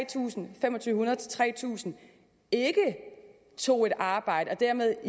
tusind fem hundrede tre tusind ikke tog et arbejde og dermed